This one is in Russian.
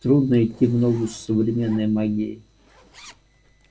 трудно идти в ногу с современной магией